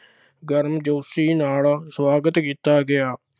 ਗਰਮਜੋਸ਼ੀ ਨਾਲ ਸੁਆਗਤ ਕੀਤਾ ਗਿਆ।